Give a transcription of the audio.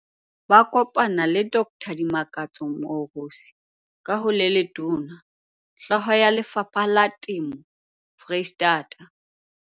Ba kopana le Dr Limakatso Moorosi, ka ho le letona, Hloho ya Lefapha la Temo Foreisetata.